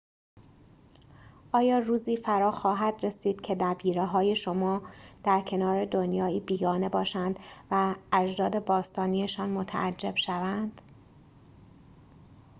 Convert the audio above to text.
آیا روزی فراخواهد رسید که نبیره‌های شما در کنار دنیایی بیگانه باشند و از اجداد باستانی‌شان متعجب شوند